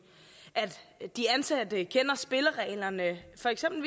at de ansatte kender spillereglerne for eksempel